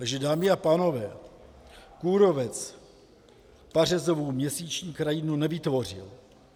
Takže dámy a pánové, kůrovec pařezovou měsíční krajinu nevytvořil.